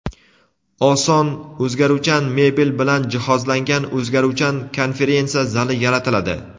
oson o‘zgaruvchan mebel bilan jihozlangan o‘zgaruvchan konferensiya zali yaratiladi.